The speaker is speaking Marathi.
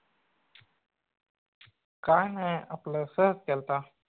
काय नाई आपल सहज केलता